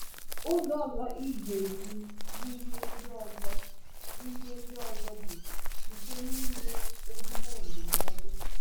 Ụ́zọ̀ ọ̀zọ́ ị gá- èjí wulie ndị ọ̀zọ́ wulie ndị ọ̀zọ́ bụ site n'ínyē ezígbó ndụmọdụ